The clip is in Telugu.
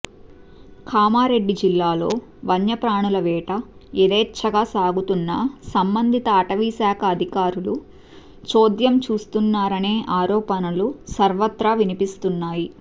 కామారెడ్డి జిల్లాలో వన్యప్రాణుల వేట యదేఛ్చగా సాగుతున్నా సంబందిత అటవీశాఖ అదికారులు చోద్యం చూస్తున్నారనే ఆరోపణలు సర్వత్రా వినిపిస్తున్నాయి